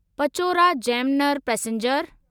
Pachora Jamner passenger